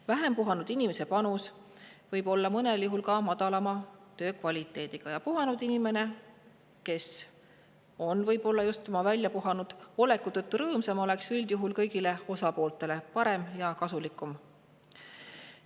Vähem puhanud inimese panus võib mõnel juhul väljenduda ka madalamas töökvaliteedis ja puhanud inimene, kes on võib-olla just oma väljapuhanud oleku tõttu rõõmsam, oleks üldjuhul kõigile osapooltele parem ja kasulikum.